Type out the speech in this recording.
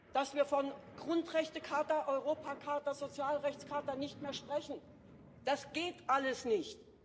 Dass wir von Grundrechtecharta, Europacharta, Sozialrechtscharta nicht mehr sprechen das geht alles nicht!